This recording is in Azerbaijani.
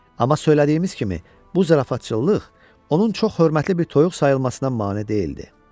Amma söylədiyimiz kimi, bu zarafatçılıq onun çox hörmətli bir toyuq sayılmasına mane deyildi.